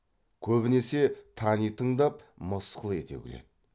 көбінесе тани тыңдап мысқыл ете күледі